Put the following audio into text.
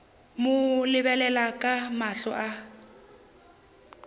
mo lebelela ka mahlo a